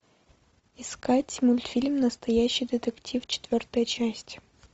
искать мультфильм настоящий детектив четвертая часть